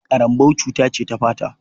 Ƙarambau cuta ce ta fata.